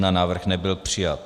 Návrh nebyl přijat.